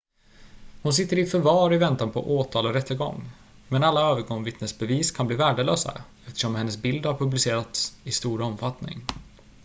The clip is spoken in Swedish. hon sitter i förvar i väntan på åtal och rättegång men alla ögonvittnesbevis kan bli värdelösa eftersom hennes bild har publicerats i stor omfattning